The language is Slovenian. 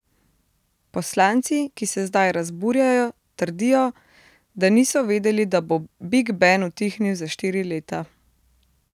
Poslanci, ki se zdaj razburjajo, trdijo, da niso vedeli, da bo Big Ben utihnil za štiri leta.